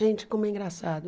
Gente, como é engraçado.